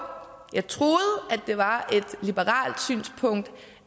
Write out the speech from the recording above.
jeg troede at det var et liberalt synspunkt